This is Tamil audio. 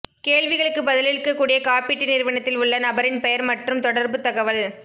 கேள்விகளுக்கு பதிலளிக்கக்கூடிய காப்பீட்டு நிறுவனத்தில் உள்ள நபரின் பெயர் மற்றும் தொடர்புத் தகவல்